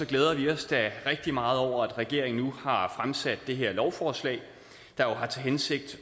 glæder vi os da rigtig meget over at regeringen nu har fremsat det her lovforslag der jo har til hensigt